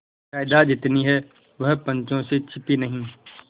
जायदाद जितनी है वह पंचों से छिपी नहीं